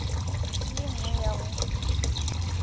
le ye nngwe ya go